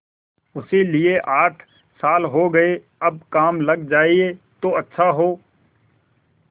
उसे लिये आठ साल हो गये अब काम लग जाए तो अच्छा हो